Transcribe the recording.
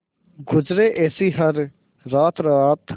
गुजरे ऐसी हर रात रात